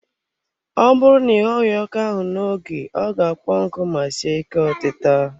Ọ bụrụ na ị ghoghi ọka ahụ n'oge ọ ga-akpọ nku ma sie ike otita.